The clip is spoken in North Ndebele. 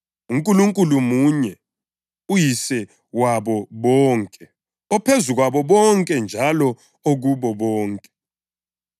uNkulunkulu munye uYise wabo bonke, ophezu kwabo bonke njalo okubo bonke.